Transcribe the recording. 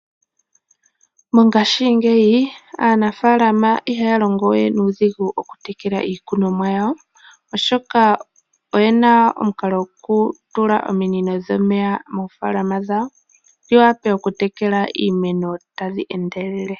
Mongashingeyi aanafaalama ihaya longo we nuudhigu oku tekela iikunwamo yawo, oshoka oyena omukalo gokutala omunino dhomeya moofaalama dhawo dhiwape okutekela iimeno tadhi endelele.